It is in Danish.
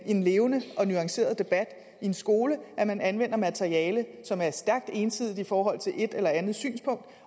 en levende og nuanceret debat i en skole at man anvender materiale som er stærkt ensidigt i forhold til et eller andet synspunkt